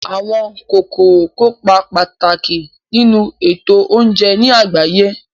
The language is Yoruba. Àwọn kòkòrò kópa pàtàkì nínu ètò oúnje ní àgbáyé